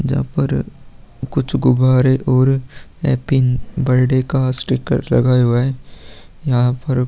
जहाँ पर कुछ गुब्बारे और हैप्पी बर्थडे का स्टीकर लगाया हुआ है। यहाँ पर --